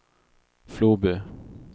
Floby